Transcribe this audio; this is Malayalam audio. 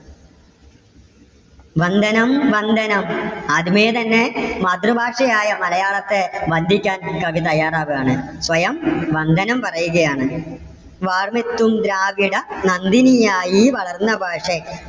വന്ദനം വന്ദനം. ആദ്യമേ തന്നെ മാതൃഭാഷയായ മലയാളത്തെ വന്ദിക്കുവാൻ കവി തയ്യാറാകുവാണ്. സ്വയം വന്ദനം പറയുകയാണ്. വാർമെത്തും ദ്രാവിഡ നന്ദിനിയായി വളർന്ന ഭാഷേ.